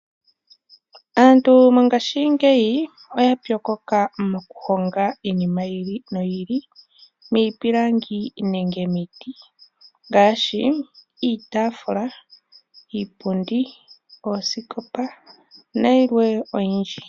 Aantu mongashingeyi oya pyokoka moku honga iinima yi ili noyi ili miipilangi nenge miiti, ngaashi iitaafula, iipundi, oosikopa nayilwe oyindji.